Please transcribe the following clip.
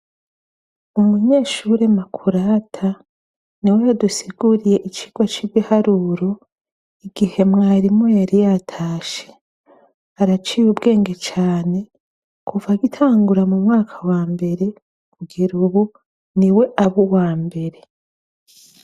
Umunyeshure Makurata, niwe yadusiguriye icirwa c' ibiharuro, igihe mwarimu yari yatashe. Araciye ubwenge cane, kuva agitangura mu mwaka wa mbere, kugera ubu, niwe aba uwambere.